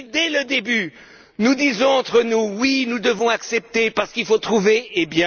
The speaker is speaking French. Si, dès le début, nous disons entre nous Oui, nous devons accepter parce qu'il faut trouver une solution,